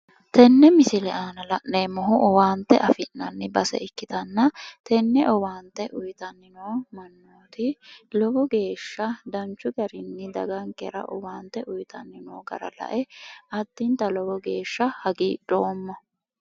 tenne misile aana la'neemmohu owaanta afi'nanni base ikkitanna tenne owaante uyiitanni noo mannooti lowo geeshsha dagankera danchu garinni owaante uyiitanni noo gara lae addinta lowo geeshsha hagiidhoomma.